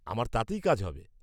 আমার তাতেই কাজ হবে।